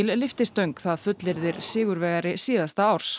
lyftistöng það fullyrðir sigurvegari síðasta árs